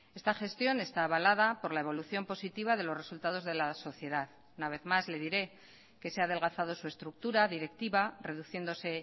esta gestión está abalada por la evolución positiva de los resultados de la sociedad una vez más le diré que se ha adelgazado su estructura directiva reduciéndose